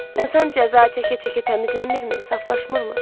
İnsan cəza çəkə-çəkə təmizlənmirmi, saflaşırmı?